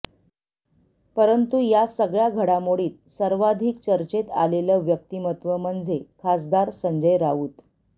परंतु या सगळ्या घडामोडीत सार्वधिक चर्चेत आलेलं व्यक्त्तमत्व म्हणजे खासदार संजय राऊत